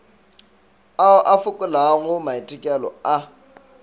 ao a fokolago maitekelo a